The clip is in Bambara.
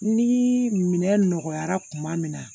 Ni minɛ nɔgɔyara kuma min na